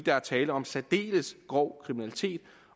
er tale om særdeles grov kriminalitet